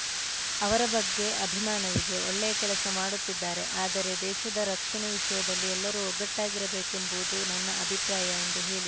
ಅವರ ಬಗ್ಗೆ ಅಭಿಮಾನವಿದೆ ಒಳ್ಳೆಯ ಕೆಲಸ ಮಾಡುತ್ತಿದ್ದಾರೆ ಆದರೆ ದೇಶದ ರಕ್ಷಣೆ ವಿಷಯದಲ್ಲಿ ಎಲ್ಲರೂ ಒಗ್ಗಟ್ಟಾಗಿರಬೇಕೆಂಬುದು ನನ್ನ ಅಭಿಪ್ರಾಯ ಎಂದು ಹೇಳಿ